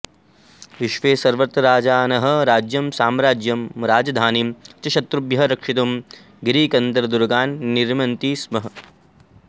विश्वे सर्वत्र राजानः राज्यं साम्राज्यं राजधानीं च शत्रुभ्यः रक्षितुं गिरिकन्दरदुर्गान् निर्मन्ति स्म